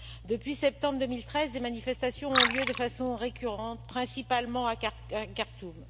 Depuis septembre 2013, des manifestations ont lieu de façon récurrente, principalement à Khartoum.